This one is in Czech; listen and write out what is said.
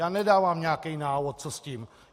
Já nedávám nějaký návod, co s tím.